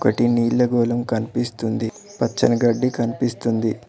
నీళ్ల గోళం కనిపిస్తుంది పచ్చని గడ్డి కనిపిస్తుంది.